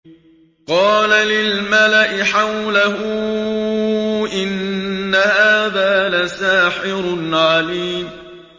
قَالَ لِلْمَلَإِ حَوْلَهُ إِنَّ هَٰذَا لَسَاحِرٌ عَلِيمٌ